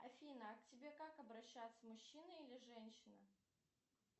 афина к тебе как обращаться мужчина или женщина